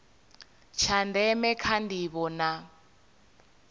tsha ndeme kha ndivho na